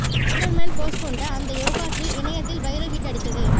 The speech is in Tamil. ஸ்பைடர் மேன் போஸ் கொண்ட அந்த யோகா ஸ்டில் இணையத்தால் வைரல் ஹிட் அடித்தது